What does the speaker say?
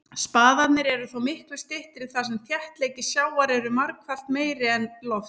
Spaðarnir eru þó miklu styttri þar sem þéttleiki sjávar er margfalt meiri en lofts.